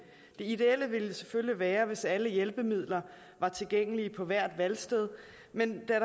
det ideelle ville selvfølgelig være hvis alle hjælpemidler var tilgængelige på hvert valgsted men da